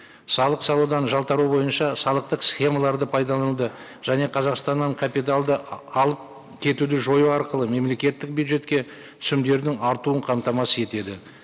салық салудан жалтару бойынша салықтық схемаларды пайдалануды және қазақстаннан капиталды алып кетуді жою арқылы мемлекеттік бюджетке түсімдердің артуын қамтамасыз етеді